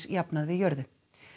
jafnað við jörðu